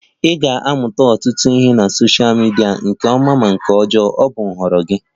Ị ga-amụta ọtụtụ ihe na sosha midia, ma nke ọma ma ihe ọjọọ, ọ bụ nhọrọ gị